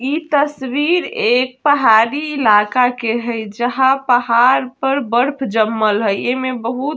इ तस्वीर एक पहाड़ी इलाका के हेय जहाँ पहाड़ पर बर्फ जमल हेय ऐ में बहुत --